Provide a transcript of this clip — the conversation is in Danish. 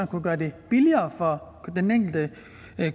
kunne gøre det billigere for den enkelte